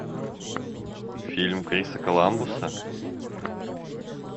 фильм криса коламбуса